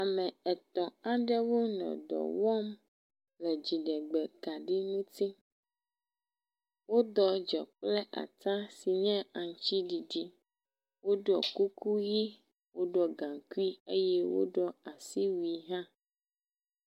Ame etɔ̃ aɖewo nɔ dɔ wɔmle dziɖegbekaɖi ŋuti. Woɖɔ dze kple ata si nye aŋutiɖiɖi. Woɖɔ kuku ʋi, woɖɔ gaŋkui eye woɖɔ asiwui hã.